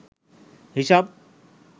হিসাব